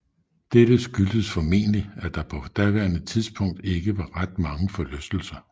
Dette skyldtes formentlig at der på daværende tidspunkt ikke var ret mange forlystelser